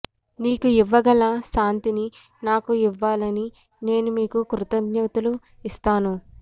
నీకు ఇవ్వగల శాంతిని నాకు ఇవ్వాలని నేను మీకు కృతజ్ఞతలు ఇస్తాను